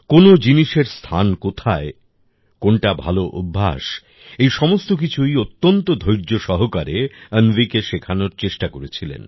কোন জিনিসের স্থান কোথায় কোনটা ভালো অভ্যাস এই সমস্ত কিছুই অত্যন্ত ধৈর্য সহকারে অন্বিকে শেখানোর চেষ্টা করেছিলেন